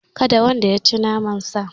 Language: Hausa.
Kada wanda yaci naman sa